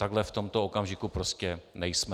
Takhle v tomto okamžiku prostě nejsme.